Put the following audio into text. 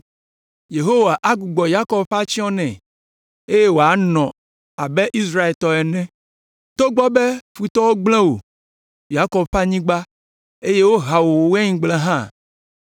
Yehowa agbugbɔ Yakob ƒe atsyɔ̃ nɛ, eye wòanɔ abe Israel tɔ ene. Togbɔ be futɔwo gblẽ wò, Yakob ƒe anyigba, eye woha wò waingblewo hã.